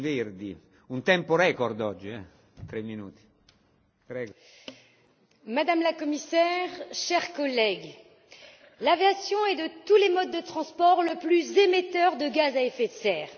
Monsieur le Président, Madame la Commissaire, chers collègues, l'aviation est de tous les modes de transport le plus émetteur de gaz à effet de serre.